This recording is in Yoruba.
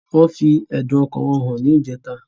Wọn fi ẹ̀dun ọkàn wọn hàn ní ìjẹta